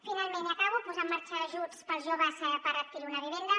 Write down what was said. finalment i acabo posar en marxa ajuts per als joves per adquirir una viven·da